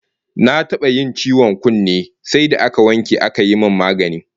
Na taba yin ciwon kunne sai da aka wanke aka yi min magani